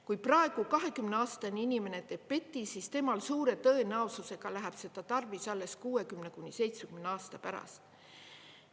Kui praegu 20-aastane inimene teeb PET-i, siis temal suure tõenäosusega läheb seda tarvis alles 60–70 aasta pärast.